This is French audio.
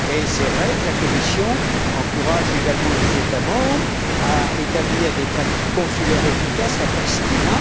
C'est vrai que la Commission encourage également les États membres à établir des pratiques consulaires efficaces à Pristina.